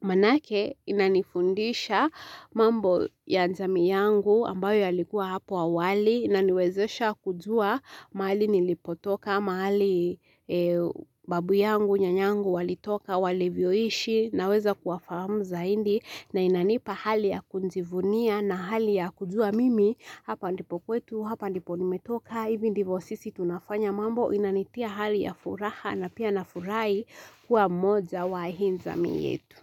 Maanake inanifundisha mambo ya jamii yangu ambayo yalikuwa hapo awali, inaniwezesha kujua mahali nilipotoka, mahali e babu yangu, nyanyangu walitoka, walivyoishi, naweza kuwafamu zaindi, na inanipa hali ya kunzivunia na hali ya kujua mimi, hapa ndipo kwetu, hapa ndipo nimetoka, hivi ndivo sisi tunafanya mambo inanitia hali ya furaha na pia nafurai kuwa mmoja wa hii nzami yetu.